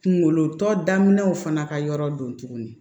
Kunkolo tɔ daminɛw fana ka yɔrɔ don tuguni